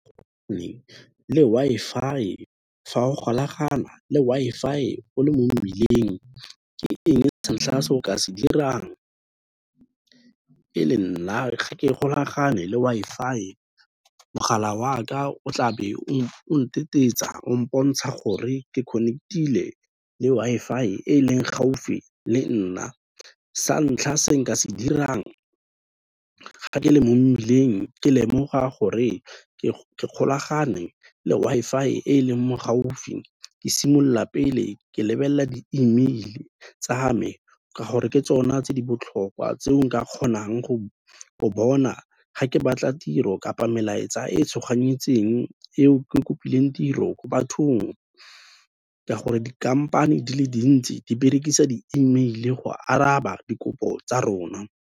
Le Wi-Fi, fa o golagana le Wi-Fi-e o le mo mmileng ke eng sa ntlha se o ka se dirang? E le nna ga ke golagane le Wi-Fi-e, mogala waka o tlabe o ntetetsa o mpontsha gore ke connect-ile le Wi-Fi e leng gaufi le nna, sa ntlha se nka se dirang ga ke le mo mmileng ke lemoga gore ke golagane le Wi-Fi-e e leng mo gaufi, ke simolola pele ke lebelela di-e-mail-e tsa me ke gore ke tsona tse di botlhokwa tse nka kgonang go bona ga ke batla tiro kapa melaetsa e tshoganyeditseng eo ke kopileng tiro ko bathong, ka gore dikhamphane di le dintsi di berekisa di-e-mail-e go araba dikopo tsa rona.